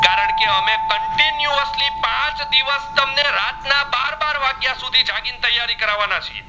રાત ના બાર બાર વાગીઓયા સુધી જાગી ને તૈયારી કરવાના છે.